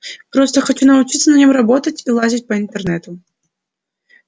просто хочу научиться на нем работать и лазить по интернету